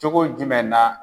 Cogo jumɛn na